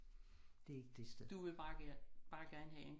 Det er ikke det sted